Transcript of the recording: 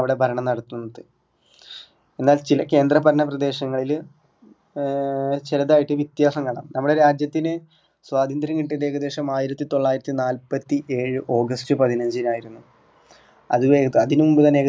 അവിടെ ഭരണം നടത്തുന്നത് എന്നാല് ചില കേന്ദ്രഭരണ പ്രദേശങ്ങളില് ഏർ ചെറുതായിട്ട് വ്യത്യാസം കാണാം നമ്മുടെ രാജ്യത്തിന് സ്വാതന്ത്ര്യം കിട്ടിയത് ഏകദേശം ആയിരത്തിതൊള്ളായിരത്തിനാൽപ്പത്തിഏഴ് august പതിനഞ്ചിനായിരുന്നു അത് കഴിഞ്ഞു അതിനു മുമ്പുതന്നെ